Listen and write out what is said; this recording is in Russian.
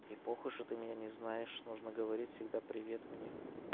и похуй что ты меня не знаешь нужно говорить всегда привет мне